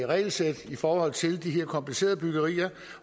regelsæt i forhold til de her komplicerede byggerier